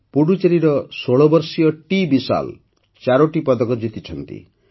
ପୁଡୁଚେରୀର ୧୬ ବର୍ଷୀୟ ଟିବିଶାଲ୍ ଚାରୋଟି ପଦକ ଜିତିଛନ୍ତି